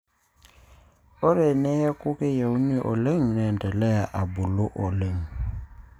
Ore teneeku keyieuni oleng neendelea abulu oleng.